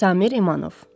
Samir İmanov.